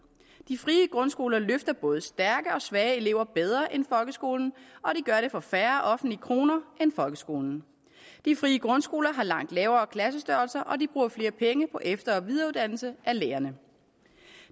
de frie grundskoler løfter både stærke og svage elever bedre end folkeskolen og de gør det for færre offentlige kroner end folkeskolen de frie grundskoler har langt mindre klassestørrelser og de bruger flere penge på efter og videreuddannelse af lærerne